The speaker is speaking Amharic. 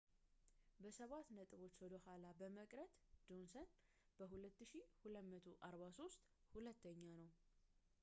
በሰባት ነጥቦች ወደ ኋላ በመቅረት ጆንሰን በ2,243 ሁለተኛ ነው